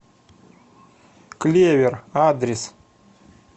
клевер адрес